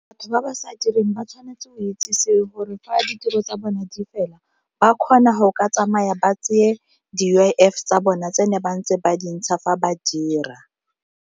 Batho ba ba sa direng ba tshwanetse go itsisiwe gore fa ditiro tsa bona di fela ba kgona go ka tsamaya ba tseye di-U_I_F tsa bona tse ne ba ntse ba dintsha fa ba dira.